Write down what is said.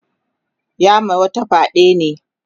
ya ma wata fyaɗe ne